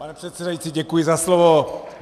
Pane předsedající, děkuji za slovo.